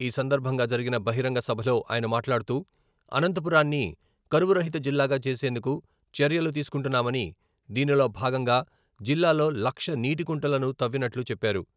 ఈ సందర్భంగా జరిగిన బహిరంగ సభలో ఆయన మాట్లాడుతూ, అనంతపురాన్ని కరవు రహిత జిల్లాగా చేసేందుకు చర్యలు తీసుకుంటున్నామని దీనిలో భాగంగా జిల్లాలో లక్ష నీటికుంటలను తవ్వినట్లు చెప్పారు.